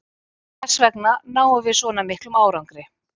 Þessvegna náðum við svona miklum árangri.